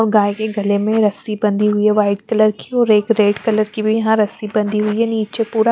और गाय के गले में रस्सी बंधी हुई है व्हाइट कलर की और एक रेड कलर की भी यहाँं रस्सी बंधी हुई है नीचे पूरा --